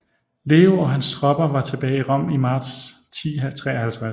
Leo og hans tropper var tilbage i Rom i marts 1053